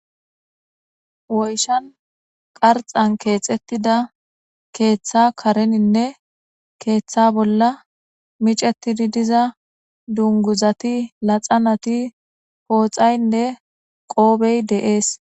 Woyishsha keththan kexetida kareninne keeththa bolla miccetidi diza dunguzati laxanati poxayinne qofey de"es